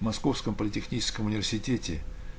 московском политехническом университете